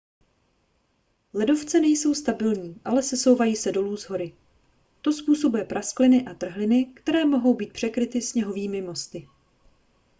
ledovce nejsou stabilní ale sesouvají se dolů z hory to způsobuje praskliny a trhliny které mohou být překryty sněhovými mosty